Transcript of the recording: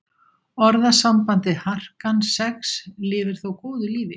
Orðasambandið harkan sex lifir þó góðu lífi.